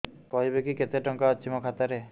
କହିବେକି କେତେ ଟଙ୍କା ଅଛି ମୋ ଖାତା ରେ